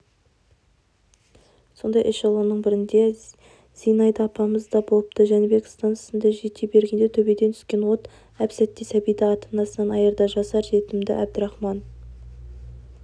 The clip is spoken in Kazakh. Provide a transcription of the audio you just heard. сондай эшелонның бірінде зинаида апамыз да болыпты жәнібек стансасына жете бергенде төбеден түскен от әп-сәтте сәбиді ата-анасынан айырды жасар жетімді әбдірахман